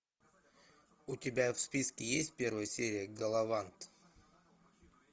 у тебя в списке есть первая серия галавант